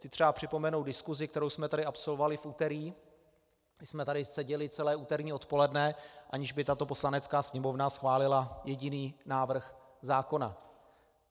Chci třeba připomenout diskusi, kterou jsme tady absolvovali v úterý, kdy jsme tady seděli celé úterní odpoledne, aniž by tato Poslanecká sněmovna schválila jediný návrh zákona.